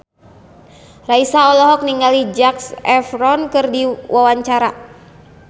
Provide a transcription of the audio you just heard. Raisa olohok ningali Zac Efron keur diwawancara